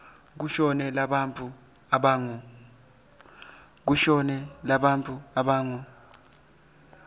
kushone bantfu labangu